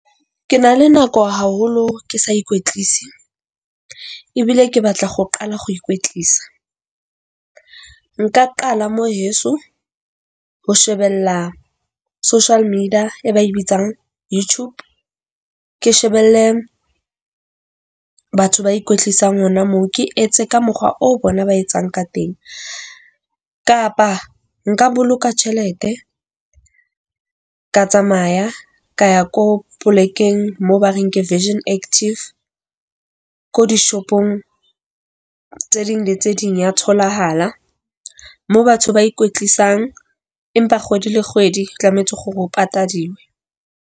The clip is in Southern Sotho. Ke na le nako haholo ke sa ikwetlise, ebile ke batla go qala ho ikwetlisa. Nka qala mo heso. Ho shebella social media e ba e bitsang YouTube. Ke shebelle batho ba kwetlisang hona moo ke etse ka mokgwa o bona ba etsang ka teng, kapa nka boloka tjhelete ka tsamaya ka ya ko polekeng mo ba reng ke Virgin Active ko dishopong tse ding le tse ding ya tholahala moo batho ba ikwetlisang empa kgwedi le kgwedi tlamehetse gore o patadiwe.